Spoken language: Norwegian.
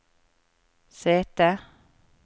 sete